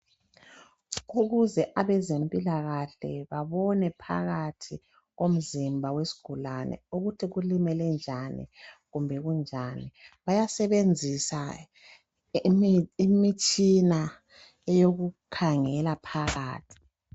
Ukuze abezempilakahle babone phakathi komzimba wesgulane ukuthi kulimele njani, kumbe kunjani, bayasebenzisa imitshina eyokukhangela phakathi.